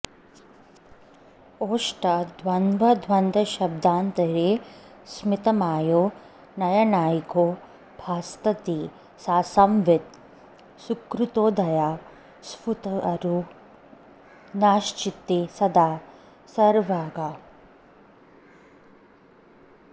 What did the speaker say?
ओष्ठद्वन्द्वसभान्तरे स्मितमयो नैयायिको भासते सा संवित् सुकृतोदया स्फुरतु नश्चित्ते सदा सर्वगा